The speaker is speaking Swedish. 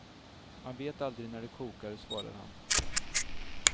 Man vet aldrig när det kokar, svarar han.